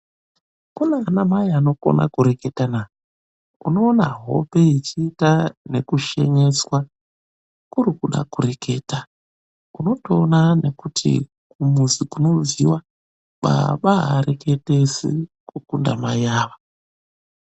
Kune mamai anokona kureketana. Unoona hope yechiita nekushinyiswa kurikuda kureketa, unotoona nekuti kumuzi kunobviwa baba haareketesi kukunda mai awa.